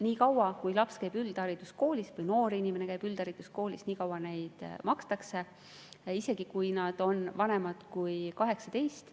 Nii kaua, kui noor inimene käib üldhariduskoolis, seda, isegi kui õpilane on vanem kui 18.